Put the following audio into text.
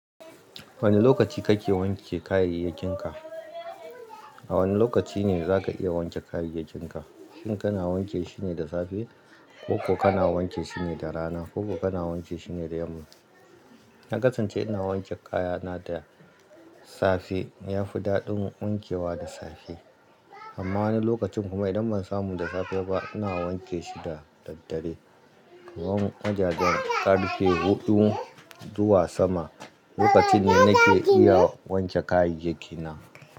Wane lokaci kake wanke kayayyakinka? A wane lokaci ne zaka iya wanke kayayyakinka? Shin kana wanke shine da safe ko kana wanke shine da rana ko kana wanke shine da yamma? Na kasance ina wanke kayana da safe. Yafi daɗin wankewa da safe. Amma wani lokacin kuma idan ban samu da safe ba, ina wanke shi da daddare. Kaman wajajen karfe huɗu zuwa sama, lokaci ne nake iya wanke kayayyaki na.